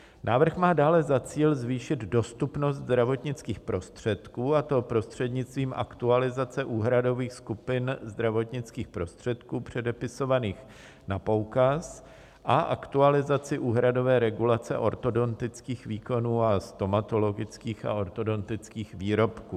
Návrh má dále za cíl zvýšit dostupnost zdravotnických prostředků, a to prostřednictvím aktualizace úhradových skupin zdravotnických prostředků předepisovaných na poukaz a aktualizaci úhradové regulace ortodontických výkonů a stomatologických a ortodontických výrobků.